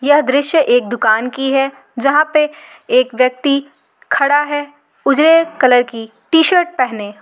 यह दृश्य एक दुकान की है जहाँ पे एक व्यक्ति खड़ा है उजले कलर की टीशर्ट पहने।